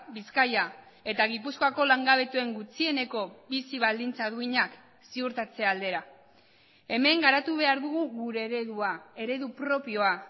bizkaia eta gipuzkoako langabetuen gutxieneko bizi baldintza duinak ziurtatze aldera hemen garatu behar dugu gure eredua eredu propioa